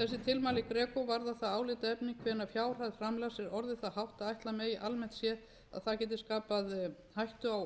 þessi tilmæli greco varða það álitaefni hvenær fjárhæð framlags er orðið það hátt að ætla megi að almennt séð að það geti skapað hættu á óeðlilegum